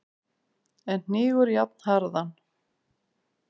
en hnígur jafnharðan.